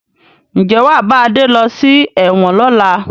Ǹjẹ́ wàá bá Adé lọ sí ẹ̀wọ̀n lọ́la?